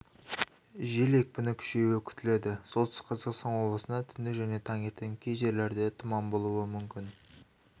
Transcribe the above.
жел екпіні күшеюі күтіледі солтүстік қазақстан облысында түнде және таңертең кей жерлерде тұман болуы мүмкін